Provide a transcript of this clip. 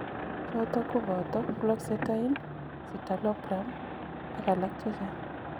Chotok kobata fluoxetine ,citalopram ak alak chechang